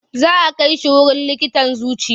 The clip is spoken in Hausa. Za a kai shi wurin likitan zuciya.